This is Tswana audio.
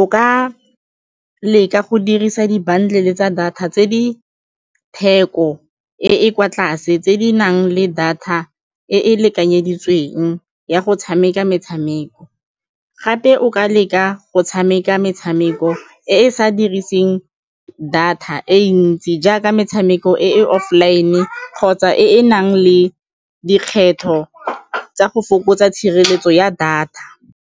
O ka leka go dirisa dibanka tse le tsa data tse di theko e e kwa tlase tse di nang le data e e lekanyeditsweng ya go tshameka metshameko, gape o ka leka go tshameka metshameko e e sa diriseng data e ntsi jaaka metshameko e e offline kgotsa e e nang le dikgetho tsa go fokotsa tshireletso ya data.